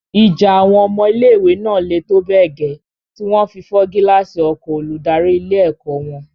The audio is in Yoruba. Ìjà àwọn ọmọ ilé-ìwé náà le tó bẹ́ẹ̀ gẹ́ tí wọn fi fọ́ gíláàsì ọkọ̀o olùdarí ilé-ẹ̀kọ́ wọn.